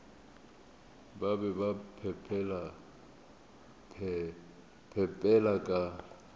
ba be ba phepela ka